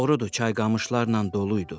Doğrudur, çayqamışlarla doluydu.